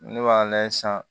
Ne b'a lajɛ sisan